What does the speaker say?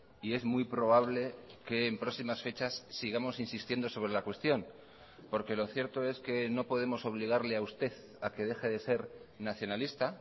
y es muy probable que en próximas fechas sigamos insistiendo sobre la cuestión porque lo cierto es que no podemos obligarle a usted a que deje de ser nacionalista